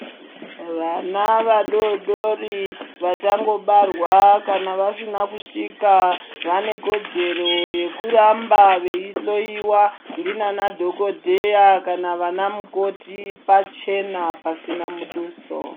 Vana vadoodori ,vachangobarwa ,kana vasina kusvika vanekodzero yekuramba veihloyiwa ndivanadhokodheya kana vanamukoti pachena pasina muduso